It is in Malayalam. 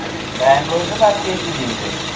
ബാംഗ്ലൂർന്ന് purchase ചെയ്തില്ലേ